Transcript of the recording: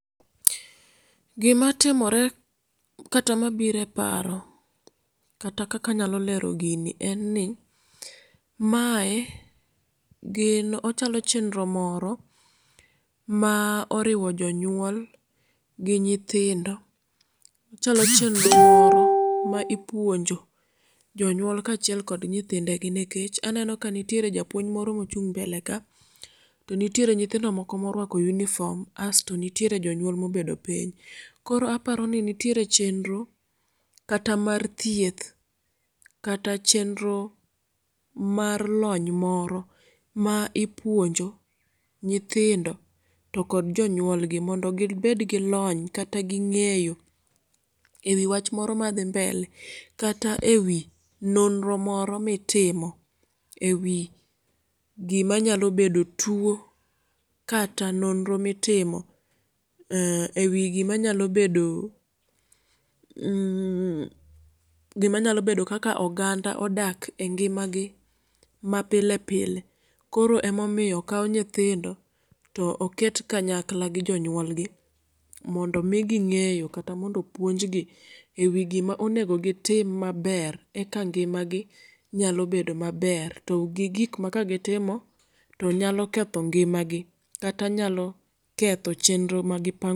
Gima timore kata mabiro eparo kata kaka anyalo lero gini en ni, mae gin ochalo chenro moro ma oriwo jonyuol gi nyithindo. Ochalo chenro moro ma ipuonjo jonyuol kachiel kod nyithindegi nikech eneno kanitiere japuonj moro mochung' mbele ka tonitiere nyithindo moko morwako uniform asto nitiere jonyuol mobedo piny. Koro aparoni nitiere chenro kata mar thieth ,kata chenro mar lony moro ma ipuonjo nyithindo tokod jonyuolgi mondo gi bedgi lony kata gi ng'eyo ewi wach moro madhi mbele kata ewi nonro moro mitimo ewi gima nyalo bedo tuo kata nonro mitimo mm ewi gima nyalo bedo mmm gimanyalo bedo kaka oganda odak engimagi mapile pile koro emomiyo okaw nyithindo to oket kanyakla gi jonyuolgi mondo migi ng'eyo kata mondo opuonjgi ewi gima onego gitim maber eka ngimagi nyalo bedo maber to gik ma kagitimo tonyalo ketho ngimagi kata nyalo ketho chenro magipa